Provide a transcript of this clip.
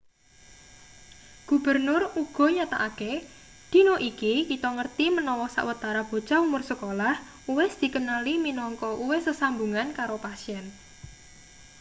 gubernur uga nyatakake dina iki kita ngerti menawa sawetara bocah umur sekolah uwis dikenali minangka uwis sesambungan karo pasien